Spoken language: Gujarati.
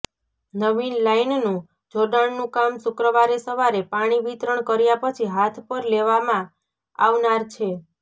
નવિન લાઈનનું જોડાણનું કામ શુક્રવારે સવારે પાણી વિતરણ કર્યા પછી હાથ પર લેવામાં આવનાર છે